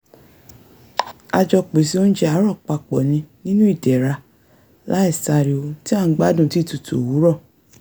a jọ pèsè oúnjẹ àárọ̀ papọ̀ ni nínú ìdẹ̀ra láìsáriwo tí à ń gbádùn títutù òwúrọ̀